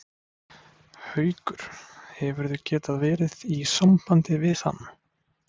Haukur: Hefurðu getað verið í sambandi við hann?